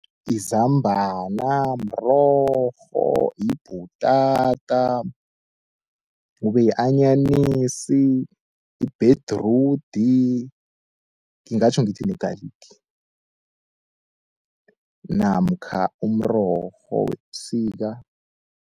Izambana, mrorho, yibhutata, kube yi-anyanisi, ibhedrudi ngingatjho ngithi ne-garlic namkha umrorho webusika.